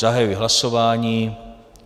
Zahajuji hlasování.